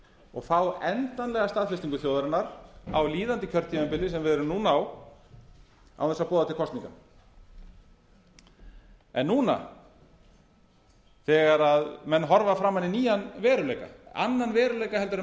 og fá endanlega staðfestingu þjóðarinnar á líðandi kjörtímabili sem við erum núna á án þess að boða til kosninga en núna þegar menn horfa framan í nýjan veruleika annan veruleika heldur en